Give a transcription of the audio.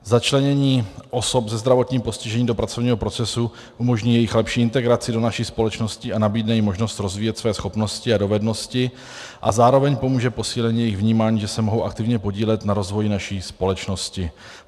Začlenění osob se zdravotním postižením do pracovního procesu umožní jejich lepší integraci do naší společnosti a nabídne jim možnost rozvíjet své schopnosti a dovednosti a zároveň pomůže posílení jejich vnímání, že se mohou aktivně podílet na rozvoji naší společnosti.